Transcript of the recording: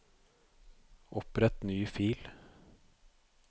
Opprett ny fil